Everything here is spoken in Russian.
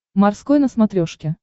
морской на смотрешке